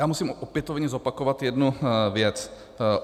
Já musím opětovně zopakovat jednu věc.